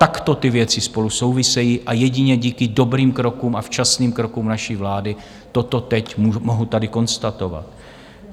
Takto ty věci spolu souvisejí a jedině díky dobrým krokům a včasným krokům naší vlády toto teď mohu tady konstatovat.